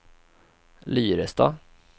Lyrestad